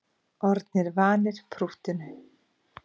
Orðnir vanir prúttinu